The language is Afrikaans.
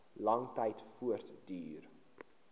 lang tyd voortduur